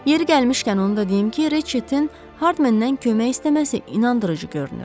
Yeri gəlmişkən onu da deyim ki, Reçetin Hardmendən kömək istəməsi inandırıcı görünür.